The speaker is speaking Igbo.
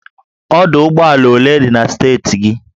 Ọdụ ụgbọ ala ole dị na steeti gị?